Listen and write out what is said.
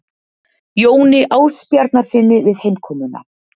Jóni Ásbjarnarsyni við heimkomuna.